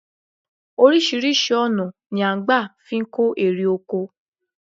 Oríṣiríṣi ọ̀nà ni à n gbà fi kó erè oko